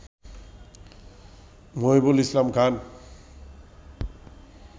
Mohibul Islam Khan